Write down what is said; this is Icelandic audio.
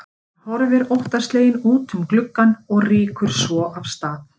Hann horfir óttasleginn út um gluggann og rýkur svo af stað.